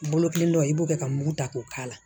Bolo kelen dɔ i b'o kɛ ka mugu ta k'o k'a la